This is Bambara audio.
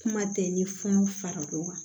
Kuma tɛ ni fɔnɔ fara dɔ kan